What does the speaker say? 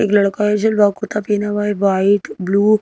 एक लड़का है झलवा कुर्ता पहना हुआ है वाइट ब्लू।